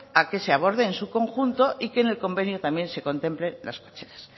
a que se aborde en su conjunto y que en el convenio también se contemplen las fechas